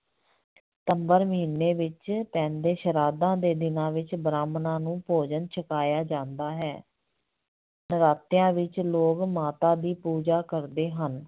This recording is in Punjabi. ਸਤੰਬਰ ਮਹੀਨੇ ਵਿੱਚ ਪੈਂਦੇ ਸ਼ਰਾਧਾਂ ਦੇ ਦਿਨਾਂ ਵਿੱਚ ਬ੍ਰਾਹਮਣਾਂ ਨੂੰ ਭੋਜਨ ਛਕਾਇਆ ਜਾਂਦਾ ਹੈ ਨਰਾਤਿਆਂ ਵਿੱਚ ਲੋਕ ਮਾਤਾ ਦੀ ਪੂਜਾ ਕਰਦੇ ਹਨ।